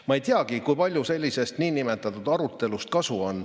Ma ei teagi, kui palju sellisest niinimetatud arutelust kasu on.